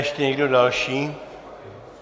Ještě někdo další?